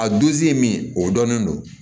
A duzi min o dɔnnen don